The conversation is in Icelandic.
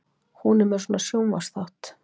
Hún er með svona sjónvarpsþátt.